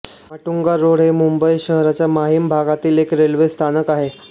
Matunga road हे मुंबई शहराच्या माहीम भागामधील एक रेल्वे स्थानक आहे